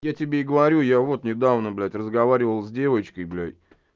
я тебе и говорю я вот не давно блять разговаривал с девочкой блять